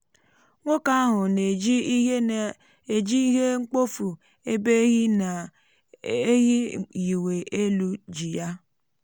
nwoke ahụ na-eji ihe na-eji ihe mkpofu ebe ehi na-ehi hiwe elu ji ya.